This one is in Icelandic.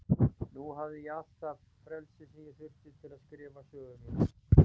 Nú hafði ég allt það frelsi sem ég þurfti til að skrifa sögu mína.